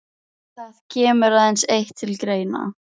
Við komum á Akranes á tilsettum tíma.